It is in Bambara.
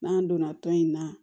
N'an donna tɔn in na